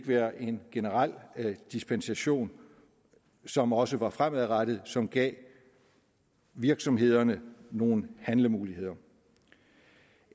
være en generel dispensation som også var fremadrettet og som gav virksomhederne nogle handlemuligheder